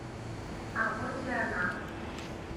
а вот и она